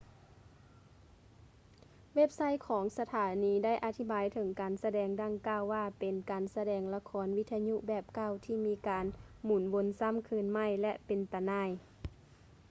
ເວັບໄຊທ໌ຂອງສະຖານີໄດ້ອະທິບາຍເຖິງການສະແດງດັ່ງກ່າວວ່າເປັນ ການສະແດງລະຄອນວິທະຍຸແບບເກົ່າທີ່ມີການໝຸນວົນຊ້ຳຄືນໃໝ່ ແລະ ເປັນຕາໜ່າຍ